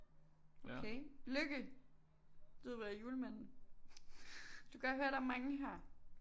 Okay Lykke Ludvig og Julemanden du kan godt høre der er mange her